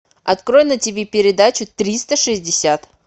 открой на тв передачу триста шестьдесят